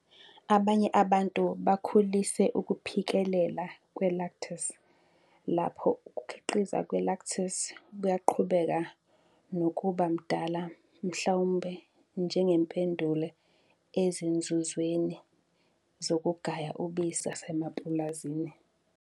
Abanye abantu bakhulise ukuphikelela kwe-lactase, lapho ukukhiqizwa kwe-lactase kuyaqhubeka nokuba mdala mhlawumbe njengempendulo ezinzuzweni zokugaya ubisi ezilwaneni zasemapulazini.